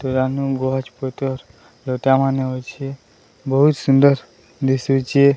ରାନୁ ବୃହସ୍ପତି ସ୍ରୋତା ମାନେ ଅଛି ବହୁତ ସୁନ୍ଦର ଦିଶୁଚି।